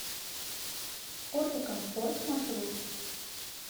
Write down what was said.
ортокомфорт маршрут